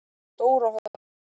Stóra Holti